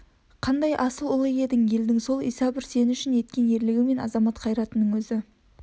қандай асыл ұлы еді елдің сол иса бір сен үшін еткен ерлігі мен азамат қайратының өзі